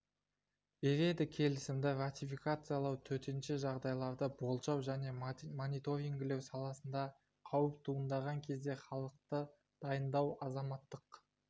береді келісімді ратификациялау төтенше жағдайларды болжау және мониторингілеу саласында қауіп туындаған кезде халықты дайындау азаматтық